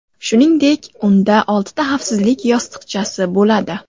Shuningdek, unda oltita xavfsizlik yostiqchasi bo‘ladi.